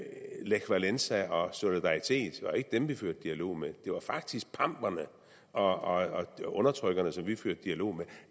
lech walesa og solidaritet vi førte dialog med det var faktisk pamperne og undertrykkerne vi førte dialog med